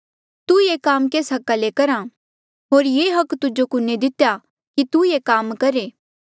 तू ये काम केस हका किन्हें करहा होर ये हक तुजो कुने दितेया कि तू ये काम करहे